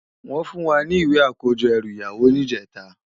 Wòn fún wá ni iwé àkójò èrú iyàwó nijètá